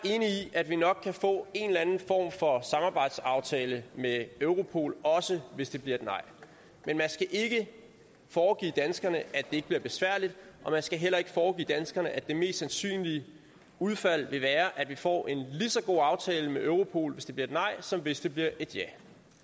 at vi nok kan få en eller anden form for samarbejdsaftale med europol også hvis det bliver et nej men man skal ikke foregive danskerne at ikke bliver besværligt og man skal heller ikke foregive danskerne at det mest sandsynlige udfald vil være at vi får en lige så god aftale med europol hvis det bliver et nej som hvis det bliver et ja